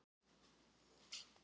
Lea